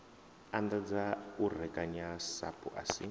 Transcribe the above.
anḓadza u rekanya sapu asi